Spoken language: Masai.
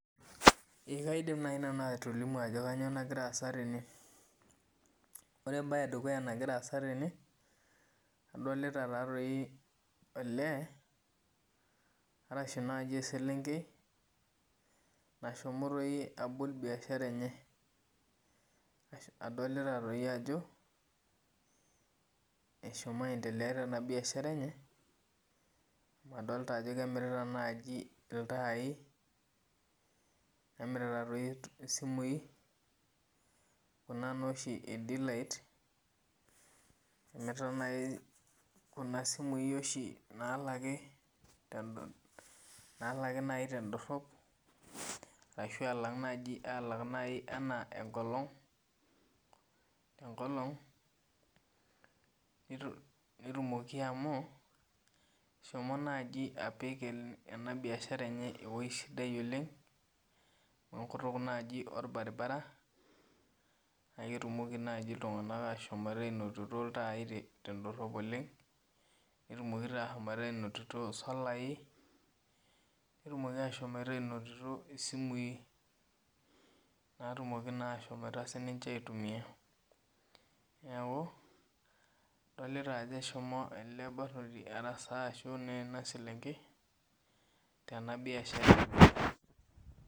Ee kaidim nai atolimu ajo kanyio nagira aasa tene ore embae edukuya Nagira aasa tene adolta olee ashu eselenkei nashomo abol biashara enye adolta ajo eshomo aendelea tenabiashara enye adolta ajo emirita iltai nemirita simui kuna naa oshi e dilight emirta kunapisai namiri tendorop arashu kun nai nalaki tenkolong netumoki amu eshomo nai apik enabiashara enye ewoi sidai oleng enkutuk orbaribara na ketumoki ltunganak ashomoita ainototo ltai tendorop oleng netum ashomo ainototo solai netumoki ashomo ainoto simui natumoki na sincje aitumia neaku adolta eshomo ele barnoti arasaa enaselenkei tenabiashara.